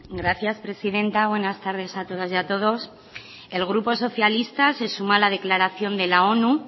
gracias presidenta buenas tardes a todas y a todos el grupo socialista se suma a la declaración de la onu